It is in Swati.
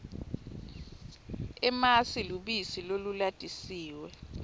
emasi lubisi lolulatisiwe